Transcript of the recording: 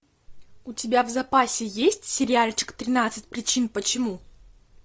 у тебя в запасе есть сериальчик тринадцать причин почему